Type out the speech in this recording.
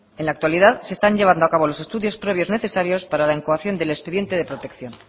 en la actualidad se están llevando a cabo los estudios previos necesarios para la incoación del expediente de protección